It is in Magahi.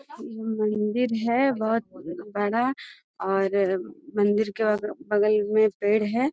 इ मंदिर है बहुत बड़ा और मंदिर के बगल मे पेड़ है।